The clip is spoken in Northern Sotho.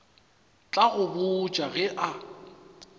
tla go botša ge a